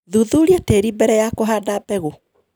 Thuthuria tĩri mbere ya kũhanda mbegũ.